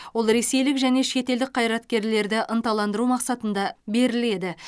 ол ресейлік және шетелдік қайраткерлерді ынталандыру мақсатында беріледі